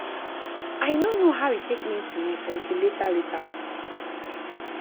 i no know how e take mean to me until later later.